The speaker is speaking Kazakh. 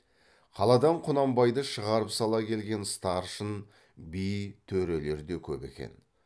қаладан құнанбайды шығарып сала келген старшын би төрелер де көп екен